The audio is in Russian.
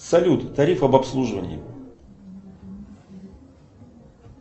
салют тариф об обслуживании